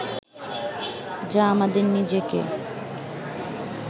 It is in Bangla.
যা আমাদের নিজেকে